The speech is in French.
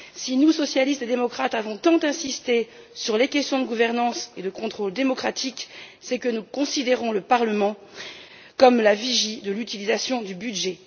Si nous, socialistes et démocrates, avons tant insisté sur les questions de gouvernance et de contrôle démocratique, c'est que nous considérons le Parlement comme la vigie de l'utilisation du budget.